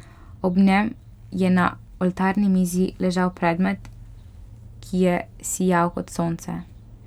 Ob njem je na oltarni mizi ležal predmet, ki je sijal kot sonce.